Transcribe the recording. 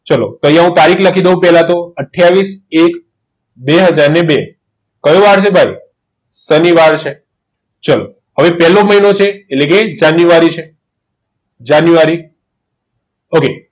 ચલો ત્યાં હું તારીખ લખી દઉં પહેલા તો આથીયાવીસ એક બે હજાર ને બે કયો વાર છે ભાઈ સાનિવાર છે ચલો હવે પહેલો મહિનો છે એટલે કે જાન્યુઆરી છે જાન્યુઆરી ઓકે